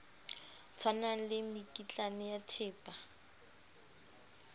tshwanang le mekitlane ya thepa